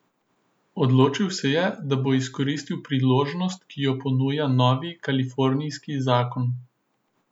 Odločil se je, da bo izkoristil priložnost, ki jo ponuja novi kalifornijski zakon.